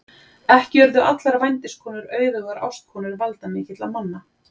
Ekki urðu allar vændiskonur auðugar ástkonur valdamikilla manna.